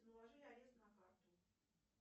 наложили арест на карту